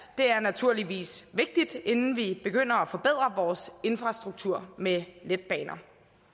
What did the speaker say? er naturligvis vigtigt inden vi begynder at forbedre vores infrastruktur med letbaner